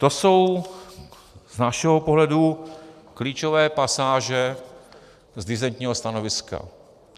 To jsou z našeho pohledu klíčové pasáže z disentního stanoviska.